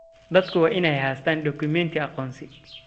Dadku waa inay haystaan ??dukumeenti aqoonsi.